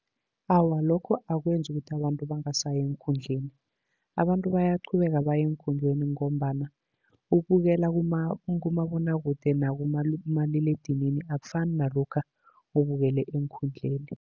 Awa, lokho akwenzi ukuthi abantu bangasayi eenkundleni. Abantu bayaqhubeka baye eenkhundleni, ngombana ukubukela kumabonwakude nakumaliledinini akufani nalokha ubukele eenkhundleni.